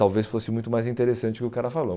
Talvez fosse muito mais interessante o que o cara falou.